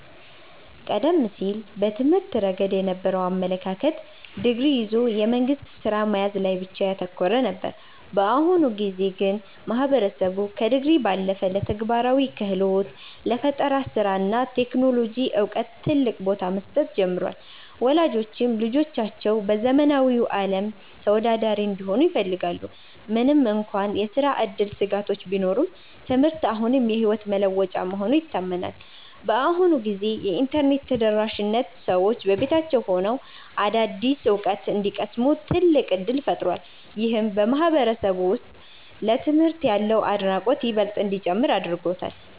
ቀደም ሲል በትምህርት ረገድ የነበረው አመለካከት ዲግሪ ይዞ የመንግሥት ሥራ መያዝ ላይ ብቻ ያተኮረ ነበር። በአሁኑ ጊዜ ግን ማህበረሰቡ ከዲግሪ ባለፈ ለተግባራዊ ክህሎት፣ ለፈጠራ ሥራ እና ለቴክኖሎጂ ዕውቀት ትልቅ ቦታ መስጠት ጀምሯል። ወላጆችም ልጆቻቸው በዘመናዊው ዓለም ተወዳዳሪ እንዲሆኑ ይፈልጋሉ። ምንም እንኳን የሥራ ዕድል ስጋቶች ቢኖሩም፣ ትምህርት አሁንም የሕይወት መለወጫ መሆኑ ይታመናል። በአሁኑ ጊዜ የኢንተርኔት ተደራሽነት ሰዎች በቤታቸው ሆነው አዳዲስ ዕውቀት እንዲቀስሙ ትልቅ ዕድል ፈጥሯል። ይህም በማህበረሰቡ ውስጥ ለትምህርት ያለውን አድናቆት ይበልጥ እንዲጨምር አድርጎታል።